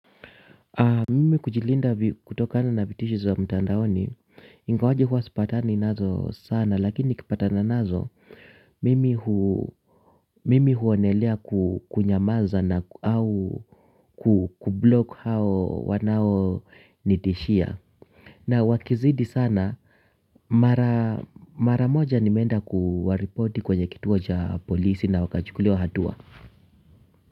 Mimi kujilinda kutokana na vitishisho za mtandaoni, ingawaje huwa sipatani nazo sana lakini nikipatana nazo, mimi mimi huonelea kunyamaza au kublock hao wanaonitishia. Na wakizidi sana, mara moja nimeenda kuwaripoti kwenye kituo cha polisi na wakachukuliwa hatua.